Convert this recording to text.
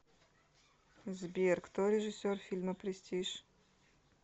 сбер кто режиссер фильма престиж